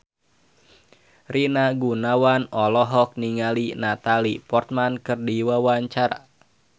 Rina Gunawan olohok ningali Natalie Portman keur diwawancara